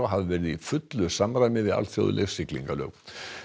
hafi verið í fullu samræmi við alþjóðleg siglingalög